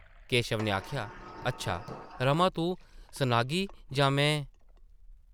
केशव नै आखेआ , ‘‘अच्छा, रमा तूं सनाग्गी जां में ...?’’